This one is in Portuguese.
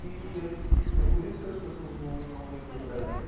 E é e é por isso que as pessoas não não leem no Brasil.